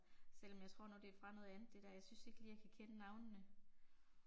Selvom jeg tror nu det er fra noget andet det der, jeg synes ikke lige jeg kan kende navnene